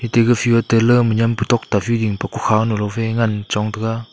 ega fea tala niam pe kukhao nu ngan taga.